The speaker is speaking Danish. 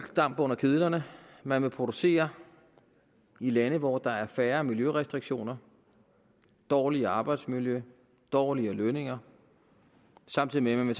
damp under kedlerne man vil producere i lande hvor der er færre miljørestriktioner dårligere arbejdsmiljø dårligere lønninger samtidig med at man